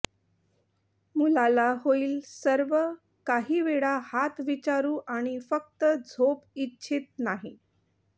मुलाला होईल सर्व काही वेळा हात विचारू आणि फक्त झोप इच्छित नाही